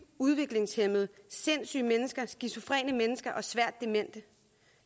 udviklingshæmmede sindssyge mennesker skizofrene mennesker og svært demente